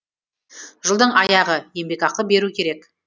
жылдың аяғы еңбекақы беру керек